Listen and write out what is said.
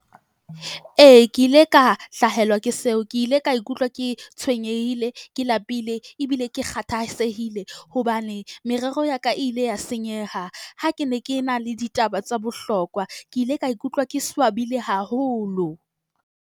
Ee, ke ile ka hlahelwa ke seo. Ke ile ka ikutlwa ke tshwenyehile, ke lapile ebile ke kgathatsehile hobane merero ya ka ile ya senyeha. Ha ke ne ke na le ditaba tsa bohlokwa, ke ile ka ikutlwa ke swabile haholo.